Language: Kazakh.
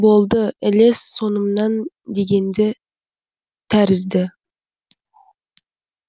болды ілес соңымнан дегенді тәрізді